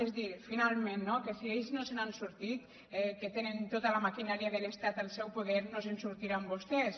és a dir finalment no que si ells no se n’han sortit que tenen tota la maquinària de l’estat al seu poder no se’n sortiran vostès